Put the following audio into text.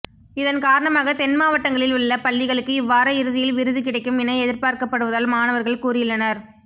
இதன் காரணமாக தென் மாவட்டங்களில் உள்ள பள்ளிகளுக்கு இவ்வார இறுதியில் விருது கிடைக்கும் என எதிர்பார்க்கப்படுவதால் மாணவர்கள் கூறியுள்ளனர்